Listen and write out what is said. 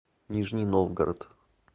нижний новгород